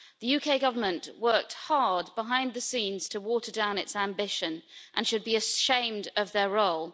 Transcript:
The UK Government worked hard behind the scenes to water down its ambition and should be ashamed of its role.